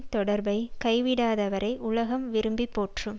தொடர்பைக் கைவிடாதவரை உலகம் விரும்பி போற்றும்